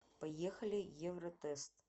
поехали евротест